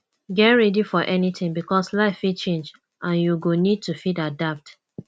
dey ready for anything because life fit change and you go need to fit adapt